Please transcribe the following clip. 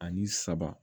Ani saba